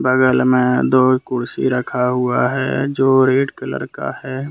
बगल में दो कुर्सी रखा हुआ है जो रेड कलर का है।